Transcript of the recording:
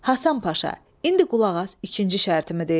Həsən Paşa, indi qulaq as ikinci şərtimi deyim.